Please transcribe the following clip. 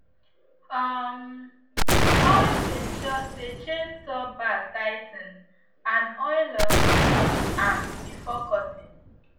um always ensure say chainsaw bar tigh ten ed and oil um am before cutting